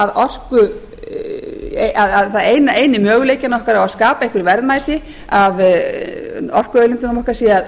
að segja að eini möguleikinn okkar á að skapa einhver verðmæti af orkuauðlindunum okkar sé